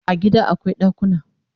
A gida akwai dakuna